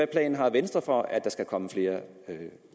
planer har venstre for at der kommer flere